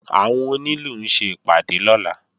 Àwọn onílù ń ṣe ìpàdé lọ́la